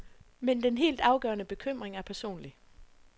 Men den helt afgørende bekymring er personlig.